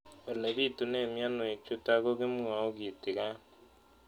Ole pitune mionwek chutok ko kimwau kitig'�n